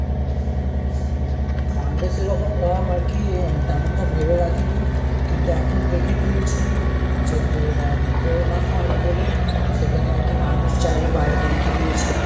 fund এ সেরকম নাম আর কি তেমন তা ভেবে রাখি নি। কিন্তু এখন রেখে দিয়েছি যে তোর corona fund বলে তো সেখানে র কি মানুষ চাইলে bio তে লিখে দিয়েছি।